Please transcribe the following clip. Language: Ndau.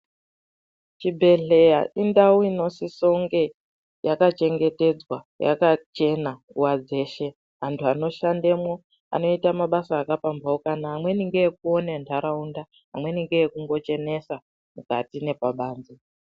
Chibhedhlera indau inosise kunge akachengetedzwa yakachena nguwa dzeshe. Antu ano shandemwo anoite mabasa aka pamhaukana. Amweni ngeekuone nharaunda, amweni ngeekungo chenesa mukati nepabanze.